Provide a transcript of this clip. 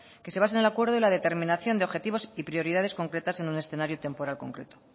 que se basa en el acuerdo y la determinación de objetivos y prioridades concretas en un escenario temporal concreto